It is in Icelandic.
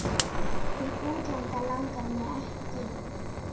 Til útlanda langar mig ekki.